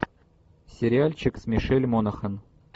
сериальчик с мишель монахэн